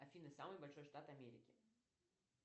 афина самый большой штат америки